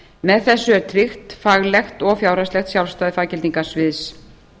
með þessu er tryggt faglegt og fjárhagslegt sjálfstæði faggildingarsviðs